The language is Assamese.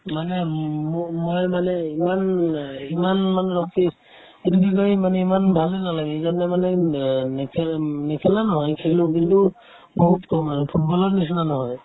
মানে ম ~ মই ~ মই মানে ইমান অ ইমান মানে test এইটো কি কই ইমান ভালে নালাগে সেইকাৰণে মানে উম নেখেলে নেখেলা নহয় খেলো কিন্তু বহুত কম আৰু football ৰ নিচিনা নহয়